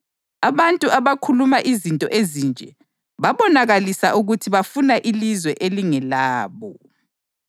Abantu abakhuluma izinto ezinje babonakalisa ukuthi bafuna ilizwe elingelabo.